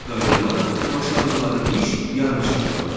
Bir qayda olaraq başladıqları iş yarımçıq qalır.